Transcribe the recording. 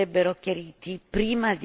in piena guerra civile.